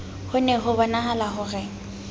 ho ne hobonahala ho re